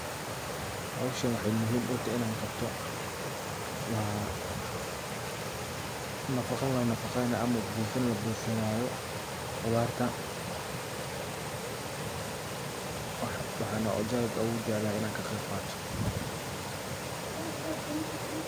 Hoowshan waxey muhiim utahay inan qabto wa nafaqo la nafaqeenayo ama buufin la buufinayo qudhaarta waxana za'id ogujeclahay inan kaqeeyb qaato